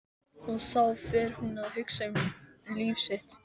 Og þá fer hún að hugsa um líf sitt.